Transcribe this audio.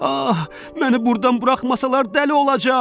Ah, məni burdan buraxmasalar dəli olacam!